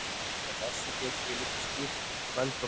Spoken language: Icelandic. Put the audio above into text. Með þessu getum við líka skýrt kvöldroðann.